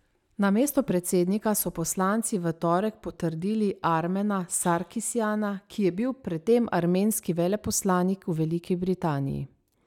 Na mesto predsednika so poslanci v torek potrdili Armena Sarkisjana, ki je bil predtem armenski veleposlanik v Veliki Britaniji.